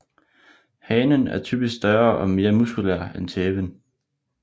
Hanen er typisk større og mere muskulær end tæven